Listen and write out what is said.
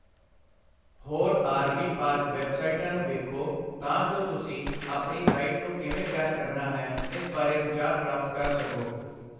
ਹੋਰ R. V. Park ਵੈੱਬਸਾਈਟਾਂ ਨੂੰ ਵੇਖੋ ਤਾਂ ਜੋ ਤੁਸੀਂ ਆਪਣੀ ਸਾਈਟ ਨੂੰ ਕਿਵੇਂ ਤਿਆਰ ਕਰਨਾ ਹੈ ਇਸ ਬਾਰੇ ਵਿਚਾਰ ਪ੍ਰਾਪਤ ਕਰ ਸਕੋ।